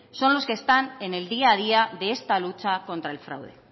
son los que están en el día a día de esta lucha contra el fraude